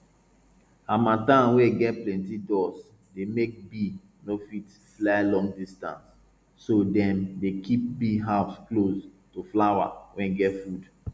harmattan wey get plenti dust dey make bee no fit fly long distance so dem dey keep bee house close to flower wey get food